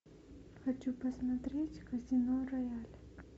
хочу посмотреть казино рояль